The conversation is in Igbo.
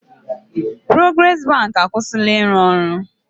Porogres bank e akwụsịla ịrụ ọrụ.